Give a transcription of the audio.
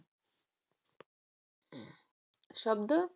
शब्द